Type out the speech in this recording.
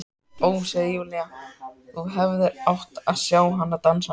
Ó, segir Júlía, þú hefðir átt að sjá hana dansa!